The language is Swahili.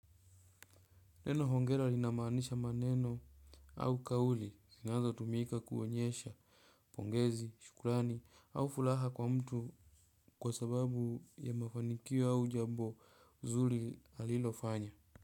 Neno hongera linamaanisha maneno au kauli zinazotumika kuonyesha pongezi, shukurani, au furaha kwa mtu kwa sababu ya mafanikio au jambo zuri alilofanya.